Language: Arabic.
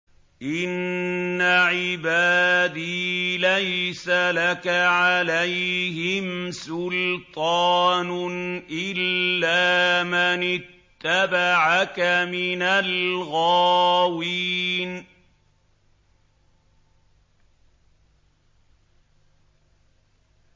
إِنَّ عِبَادِي لَيْسَ لَكَ عَلَيْهِمْ سُلْطَانٌ إِلَّا مَنِ اتَّبَعَكَ مِنَ الْغَاوِينَ